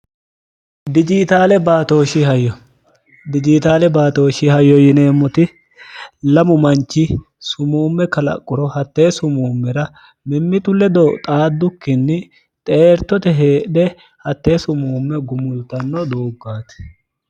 jsdijiitaale baatooshi hayyo yineemmoti lamu manchi sumuumme kalaqquro hattee sumuummera mimmitu ledo xaaddukkinni xeertote heedhe hattee sumuumme gumultanno dooggaati